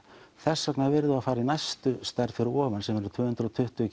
þess vegna yrðum við að fara í næstu stærð fyrir ofan sem verður tvö hundruð og tuttugu